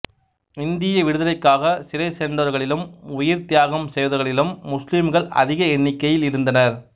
இந்திய விடுதலைக்காகச் சிறை சென்றவர்களிலும் உயிர்த் தியாகம் செய்தவர்களிலும் முஸ்லிம்கள் அதிக எண்ணிக்கையில் இருந்தனர்